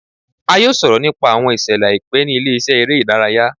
A yoo sọrọ nipa awọn iṣẹlẹ aipẹ ni ile-iṣẹ ere idaraya